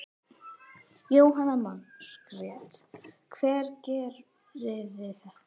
Jóhanna Margrét: Hver gerði þetta?